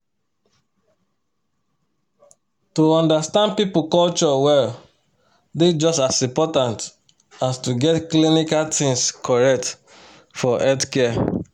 to understand people culture well dey just as important as to get clinical things correct for healthcare